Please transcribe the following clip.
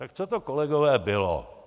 Tak co to, kolegové, bylo?